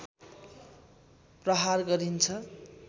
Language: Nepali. प्रहार गरिन्छ